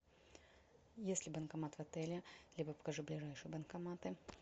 есть ли банкомат в отеле либо покажи ближайшие банкоматы